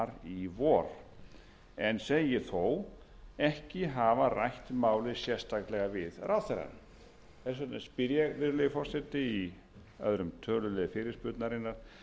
í vor en segist þó ekki hafa rætt málið sérstaklega við ráðherrann þess vegna spyr ég virðulegi forseti í öðrum tölulið fyrirspurnarinnar hvers vegna